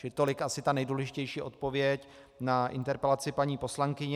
Čili tolik asi ta nejdůležitější odpověď na interpelaci paní poslankyně.